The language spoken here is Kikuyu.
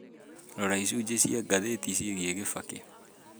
rora icunjĩ cia ngathĩti ciĩgiĩ kibaki